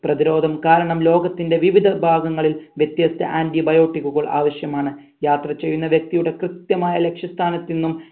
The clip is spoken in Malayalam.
പ്രതിരോധം കാരണം ലോകത്തിന്റെ വിവിധ ഭാഗങ്ങളിൽ വ്യത്യസ്ത antibiotic കൾ ആവശ്യമാണ് യാത്ര ചെയ്യുന്ന വ്യക്തിയുടെ കൃത്യമായ ലക്ഷ്യ സ്ഥാനത്ത് ന്നും